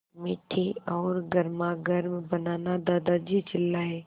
मीठी और गर्मागर्म बनाना दादाजी चिल्लाए